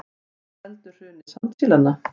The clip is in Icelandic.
Hvað veldur hruni sandsílanna